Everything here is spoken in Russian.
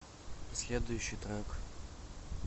следующий трек